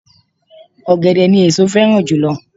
Ọ̀gẹ̀dẹ̀ ni èso féràn jùlo